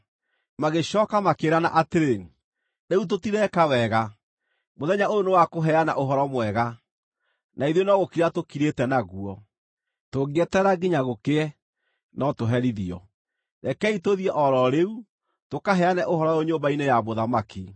Magĩcooka makĩĩrana atĩrĩ, “Rĩu tũtireka wega. Mũthenya ũyũ nĩ wa kũheana ũhoro mwega, na ithuĩ no gũkira tũkirĩte naguo. Tũngĩeterera nginya gũkĩe, no tũherithio. Rekei tũthiĩ o ro rĩu, tũkaheane ũhoro ũyũ nyũmba-inĩ ya mũthamaki.”